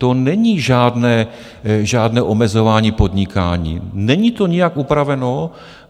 To není žádné omezování podnikání, není to nijak upraveno.